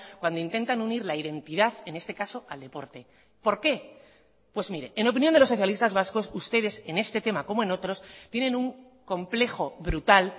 cuando intentan unir la identidad en este caso al deporte por qué pues mire en opinión de los socialistas vascos ustedes en este tema como en otros tienen un complejo brutal